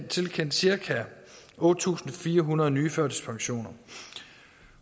tilkendt cirka otte tusind fire hundrede nye førtidspensioner